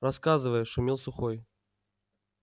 рассказывай шумел сухой